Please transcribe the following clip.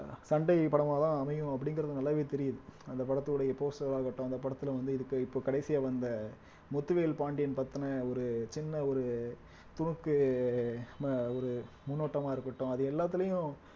சண்டை படமாதான் அமையும் அப்படிங்கிறது நல்லாவே தெரியுது அந்த படத்துடைய poster ஆகட்டும் அந்த படத்துல வந்து இதுக்கு இப்ப கடைசியா வந்த முத்துவேல் பாண்டியன் பத்தின ஒரு சின்ன ஒரு துணுக்கு சின்ன ஒரு முன்னோட்டமா இருக்கட்டும் அது எல்லாத்துலயும்